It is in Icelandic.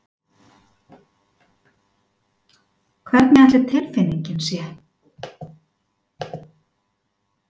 Hvernig ætli tilfinningin sé?